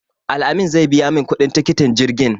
Al-amin zai biya min kuɗin tikitin jirgin.